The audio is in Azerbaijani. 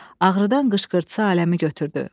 Ağrıdan qışqırsa aləmi götürdü.